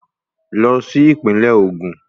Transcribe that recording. Lọ sí Ìpínlẹ̀ Ògùn